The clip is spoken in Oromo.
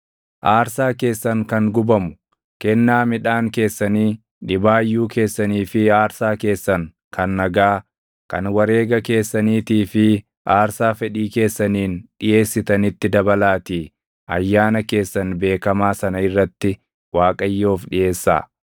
“ ‘Aarsaa keessan kan gubamu, kennaa midhaan keessanii, dhibaayyuu keessanii fi aarsaa keessan kan nagaa, kan wareega keessaniitii fi aarsaa fedhii keessaniin dhiʼeessitanitti dabalaatii ayyaana keessan beekamaa sana irratti Waaqayyoof dhiʼeessaa.’ ”